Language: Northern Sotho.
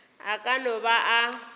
a ka no ba a